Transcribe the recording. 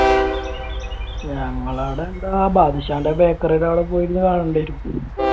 ഞങ്ങളുടെ അവിടെ എന്താ ബാദുഷാന്റെ ബേക്കറിയുടെ അവിടെ പോയിരുന്നു വെറുതെ ഇരിക്കും.